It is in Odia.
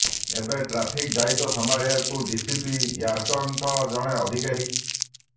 ଏବେ ଟ୍ରାଫିକ୍ ଦାୟିତ୍ୱ ସମ୍ଭାଳିବାକୁ ଡିସିପି ର୍ୟାଙ୍କର ଜଣେ ଅଧିକାରୀ